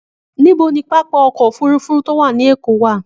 Níbo ni pápá ọkọ̀-òfurufú tó wà ní Èkó wà?